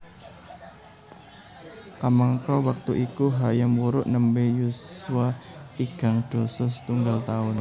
Kamangka wektu iku Hayam Wuruk nembé yuswa tigang dasa setunggal taun